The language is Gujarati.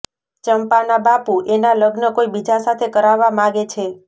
ચંપાના બાપુ એના લગ્ન કોઇ બીજા સાથે કરાવવા માગે છે